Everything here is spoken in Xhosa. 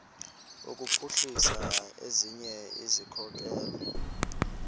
kuphuhlisa ezinye izikhokelo